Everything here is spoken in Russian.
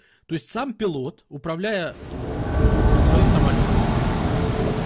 то есть сам пилот управляя своим самолётом